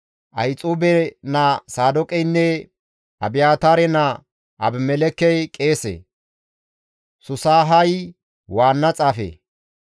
Ahixuube naa Saadooqeynne Abiyaataare naa Abimelekkey qeese; Susahay waanna xaafe;